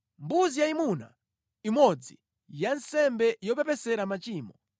mbuzi yayimuna imodzi ya nsembe yopepesera machimo;